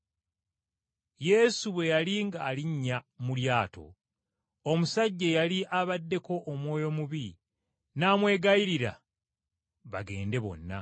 Yesu bwe yali ng’alinnya mu lyato, omusajja eyali abaddeko baddayimooni n’amwegayirira bagende bonna.